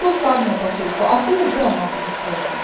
только одну посылку а ту уже она будет платить